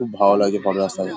খুব ভালো লাগছে পরের রাস্তাটা।